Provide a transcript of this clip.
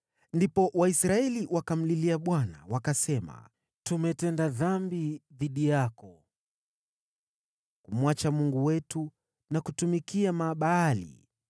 Ndipo Waisraeli wakamlilia Bwana wakasema, “Tumetenda dhambi dhidi yako, kumwacha Mungu wetu na kutumikia Mabaali.”